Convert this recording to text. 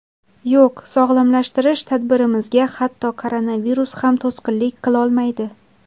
Yo‘q, sog‘lomlashtirish tadbirimizga hatto koronavirus ham to‘sqinlik qilolmaydi.